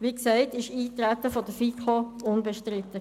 Wie gesagt war das Eintreten in der FiKo unbestritten.